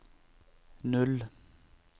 null